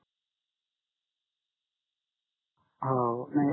हो नाही